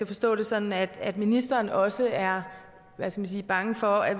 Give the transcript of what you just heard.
forstå det sådan at at ministeren også er bange for at